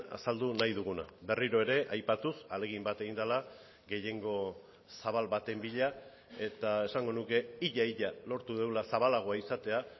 azaldu nahi duguna berriro ere aipatuz ahalegin bat egin dela gehiengo zabal baten bila eta esango nuke ia ia lortu dugula zabalagoa izatea